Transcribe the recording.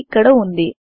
ఇది ఇక్కడ వుంది